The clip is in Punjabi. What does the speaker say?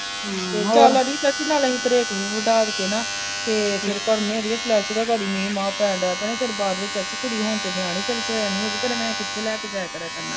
ਚਾਚੀ ਨਾਲ ਅਸੀਂ ਤ੍ਰੇਕ ਵੀ ਵਡਾ ਕੇ ਨਾ ਤੇ ਫੇਰ ਅੜੀਏ ਫਲਸ਼